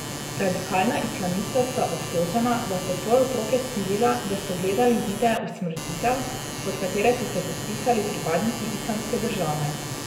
Radikalna islamista sta obtožena, da sta svoje otroke silila, da so gledali videe usmrtitev, pod katere so se podpisali pripadniki Islamske države.